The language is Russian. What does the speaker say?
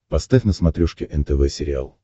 поставь на смотрешке нтв сериал